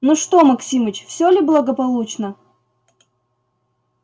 ну что максимыч все ли благополучно